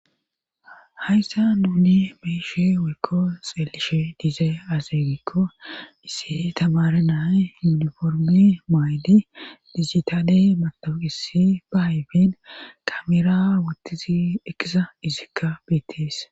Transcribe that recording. hayssa nuni beyshe woykko xeelishe diizee azeegikko issi tamare nae yuniformi mayli dizitaade matoqisi ba hayfen kamera wottizi ekisa izikka beettees